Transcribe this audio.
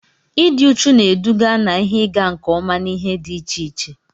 Ịdị uchu na-eduga na ihe ịga nke ọma n'ihe dị iche iche.